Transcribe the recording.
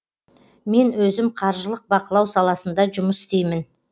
мен өзім қаржылық бақылау саласында жұмыс істеймін